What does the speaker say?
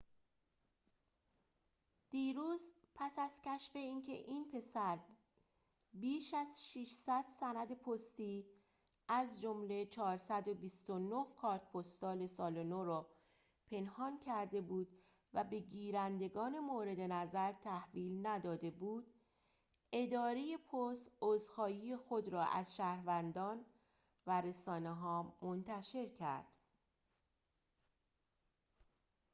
دیروز پس از کشف اینکه این پسر بیش از ۶۰۰ سند پستی از جمله ۴۲۹ کارت پستال سال نو را پنهان کرده بود و به گیرندگان مورد نظر تحویل نداده بود اداره پست عذرخواهی خود را از شهروندان و رسانه ها منتشر کرد